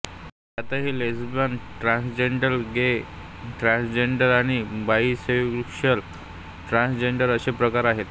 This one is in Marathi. यातही लेस्बियन ट्रांसजेंडर गे ट्रांसजेंडर आणि बाईसेक्शुअल ट्रांसजेंडर असे प्रकार आहेत